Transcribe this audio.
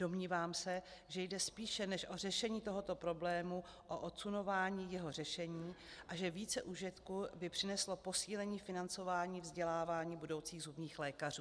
Domnívám se, že jde spíše než o řešení tohoto problému o odsunování jeho řešení a že více užitku by přineslo posílení financování vzdělávání budoucích zubních lékařů.